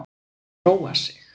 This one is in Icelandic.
Róa sig.